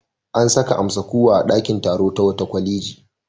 An saka amsa-kuwwa a ɗakin taro ta wata kwaleji.